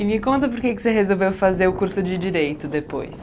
E me conta por que você resolveu fazer o curso de Direito depois.